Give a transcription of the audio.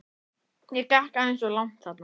Ég gekk aðeins of langt þarna.